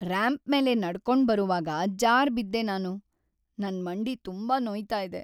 Ramp ಮೇಲೆ ನಡ್ಕೊಂಡ್‌ ಬರುವಾಗ ಜಾರ್‌ಬಿದ್ದೆ ನಾನು. ನನ್ ಮಂಡಿ ತುಂಬಾ ನೋಯ್ತಾ ಇದೆ.